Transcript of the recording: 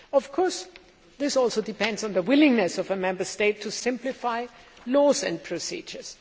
Of course, this also depends on the willingness of a Member State to simplify laws and procedures.